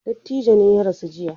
Dattijon ne ya rasu jiya.